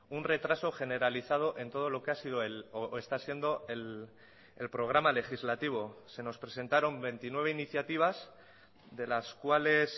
un retraso generalizado en todo lo que ha sido o está siendo el programa legislativo se nos presentaron veintinueve iniciativas de las cuales